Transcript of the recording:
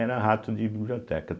era rato de biblioteca.